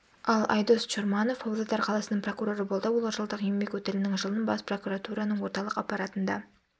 ал айдос чорманов павлодар қаласының прокуроры болды ол жылдық еңбек өтілінің жылын бас прокуратураның орталық аппаратында